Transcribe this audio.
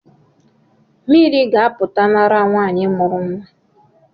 Mmiri ga-apụta n’ara nwanyị mụrụ nwa